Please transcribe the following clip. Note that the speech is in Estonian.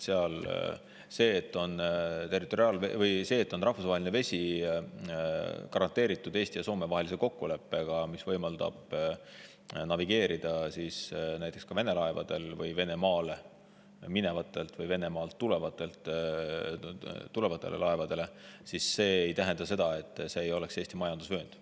See, et rahvusvaheline vesi on garanteeritud Eesti ja Soome vahelise kokkuleppega, mis võimaldab navigeerida näiteks Vene laevadel ja Venemaale minevatel või Venemaalt tulevatel laevadel, ei tähenda, et see poleks Eesti majandusvöönd.